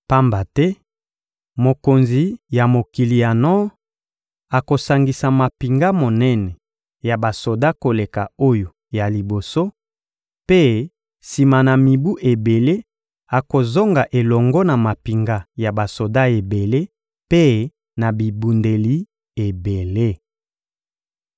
Pamba te mokonzi ya mokili ya nor akosangisa mampinga monene ya basoda koleka oyo ya liboso mpe, sima na mibu ebele, akozonga elongo na mampinga ya basoda ebele mpe na bibundeli ebele.